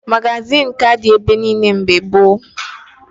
Magazịn ka dị ebe niile mgbe gboo